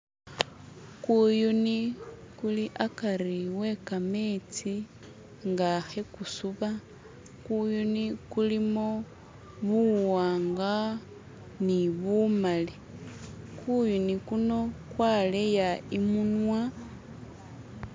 Kuyuni kuli hakari we khametsi nga khegusuba kuyuni kulimo buwanga ni bumali kuyuni kuno kwaleya imunwa